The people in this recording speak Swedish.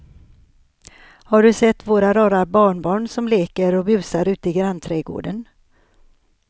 Har du sett våra rara barnbarn som leker och busar ute i grannträdgården!